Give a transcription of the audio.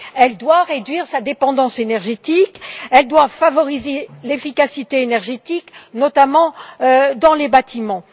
Elle doit réduire sa dépendance énergétique et favoriser l'efficacité énergétique, notamment dans les bâtiments.